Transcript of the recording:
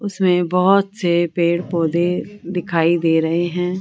उसमें बहोत से पेड़ पौधे दिखाई दे रहे हैं।